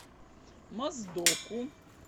моздоку